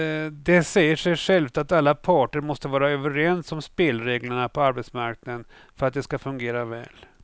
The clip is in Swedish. Det säger sig självt att alla parter måste vara överens om spelreglerna på arbetsmarknaden för att de ska fungera väl.